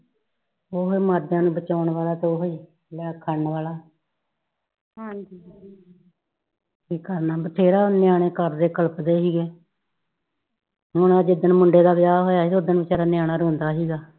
ਓ ਹੀ ਮਾਰ ਜਾਣ ਆ ਬਚਾਉਣ ਵਾਲਾ ਤੇ ਯਾ ਓ ਹੀ ਕਰਨ ਵਾਲਾ ਕਿ ਕਰਨਾ ਬਥੇਰਾ ਨਿਆਣੇ ਘਰ ਦੇ ਕਲਪਦੇ ਸੀਗੇ ਹੁਣ ਹਜੇ ਜਿਸ ਦਿਨ ਮੁੰਡੇ ਦਾ ਵਿਆਹ ਸੀਗਾ ਉਸ ਦਿਨ ਨਿਆਣਾ ਰੋਂਦਾ ਸੀਗਾ